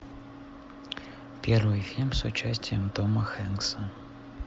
первый фильм с участием тома хэнкса